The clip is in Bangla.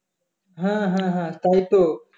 হ্যাঁ হ্যাঁ হ্যাঁ তাইতো